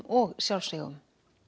og sjálfsvígum